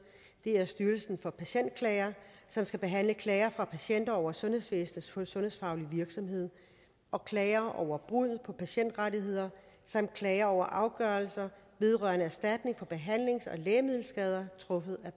det er styrelsen for patientklager som skal behandle klager fra patienter over sundhedsvæsenets sundhedsfaglige virksomhed og klager over brud på patientrettigheder samt klager over afgørelser vedrørende erstatning for behandlings og lægemiddelskader truffet af